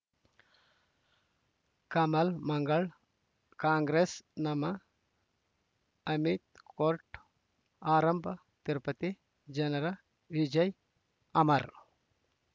ಕಮಲ್ ಮಂಗಳ್ ಕಾಂಗ್ರೆಸ್ ನಮಃ ಅಮಿತ್ ಕೋರ್ಟ್ ಆರಂಭ ತಿರುಪತಿ ಜನರ ವಿಜಯ ಅಮರ್